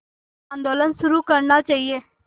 आंदोलन शुरू करना चाहिए